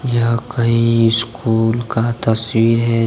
यह कई स्कूल का तस्वीर है ये।